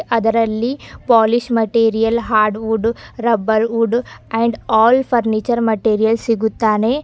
ಅದರಲ್ಲಿ polish material hardwood rubber wood and all furniture material ಸಿಗುತ್ತಾನೆ.